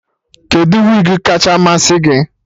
Kedụ wigi kacha masị gị?